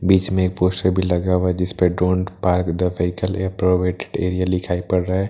बीच में पोस्टर भी लगा हुआ जिस पर don't park the vehicle provide area लिखाई पड़ रहा है।